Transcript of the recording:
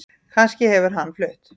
Kannski hefur hann flutt